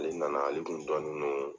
Ale nana ale kun dɔnnen don